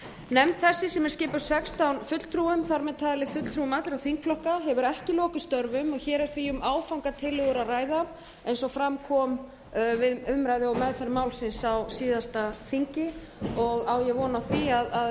nefnd þessi sem er skipuð sextán fulltrúum þar með talið fulltrúum allra þingflokka hefur ekki lokið störfum og hér er því um áfangatillögur að ræða eins og fram kom við umræðu og meðferð málsins á síðasta þingi og á ég von á því að nefndin eigi